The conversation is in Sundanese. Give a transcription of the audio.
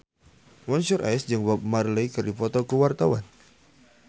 Mansyur S jeung Bob Marley keur dipoto ku wartawan